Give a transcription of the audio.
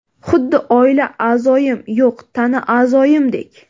Xuddi oila a’zoyim, yo‘q, tana a’zoyimdek.